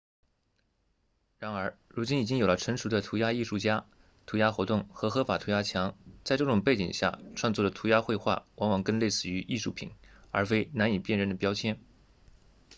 然而如今已经有了成熟的涂鸦艺术家涂鸦活动和合法涂鸦墙在这种背景下创作的涂鸦绘画往往更类似于艺术品而非难以辨认的标签